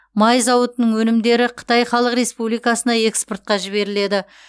май зауытының өнімдері қытай халық республикасына экспортқа жіберіледі